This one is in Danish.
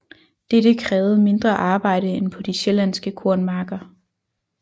Dette krævede mindre arbejde end på de sjællandske kornmarker